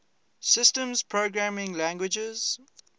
systems programming languages